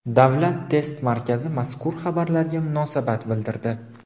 Davlat test markazi mazkur xabarlarga munosabat bildirdi.